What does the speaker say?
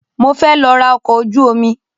Mo fẹ́ lọ ra ọkọ̀ ojú omi.